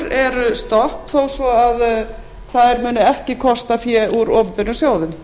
eru stopp þó svo að þær muni ekki kosta fé úr opinberum sjóðum